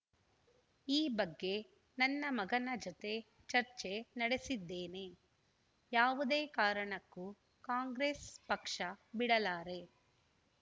ಈ ಬಗ್ಗೆ ನನ್ನ ಮಗನ ಜತೆ ಚರ್ಚೆ ನಡೆಸಿದ್ದೇನೆ ಯಾವುದೇ ಕಾರಣಕ್ಕೂ ಕಾಂಗ್ರೆಸ್‌ ಪಕ್ಷ ಬಿಡಲಾರೆ